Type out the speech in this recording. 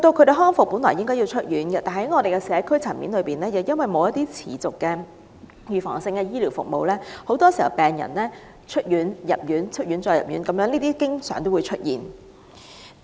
病人康復後理應出院，但由於在社區層面上缺乏持續及預防性的醫療服務，病人很多時均要不斷進出醫院，這種情況經常出現。